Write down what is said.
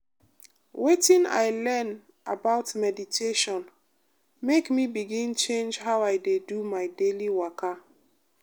wetin i learn about meditation make me begin change how i dey do my daily waka.